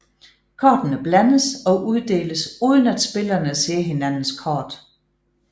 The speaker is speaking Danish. Kortene blandes og uddeles uden at spillerne ser hinandens kort